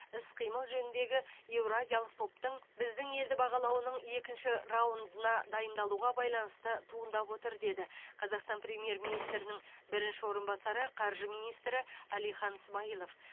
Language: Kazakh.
іс қимыл жөніндегі еуразиялық топтың біздің елді бағалауының екінші раундына дайындалуға байланысты туындап отыр деді қазақстан премьер министрінің бірінші орынбасары қаржы министрі әлихан смайылов